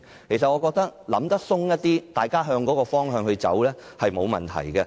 我認為，大家可以想得寬闊一點，向着同一個方向走，是沒有問題的。